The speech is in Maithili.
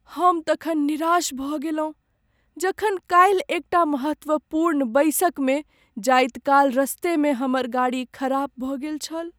हम तखन निराश भऽ गेलहुँ जखन काल्हि एक टा महत्वपूर्ण बैसकमे जाइत काल रस्तेमे हमर गाड़ी खराब भऽ गेल छल।